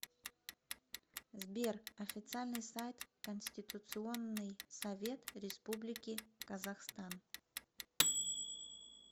сбер официальный сайт конституционный совет республики казахстан